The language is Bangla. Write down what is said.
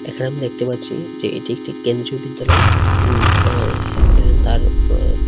এখানে আমি দেখতে পাচ্ছি যে এটি একটি কেন্দ্রীয় বিদ্যালয় উম আর তার ম--।